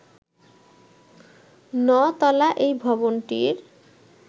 ন’তলা এই ভবনটির